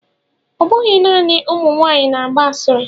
Ọ bụghị naanị ụmụ nwanyị na-agba asịrị.